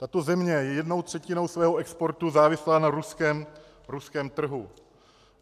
Tato země je jednou třetinou svého exportu závislá na ruském trhu.